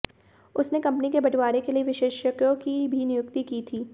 उसने कंपनी के बंटवारे के लिए विशेषज्ञों की भी नियुक्ति की थी